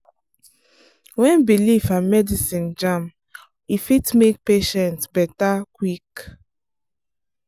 when belief and medicine jam e fit make patient better quick.